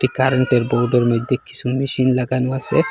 কারেন্টের বোর্ডের মধ্যে কিসু মেশিন লাগানো আসে।